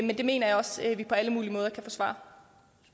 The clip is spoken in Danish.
svare